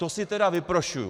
To si teda vyprošuju.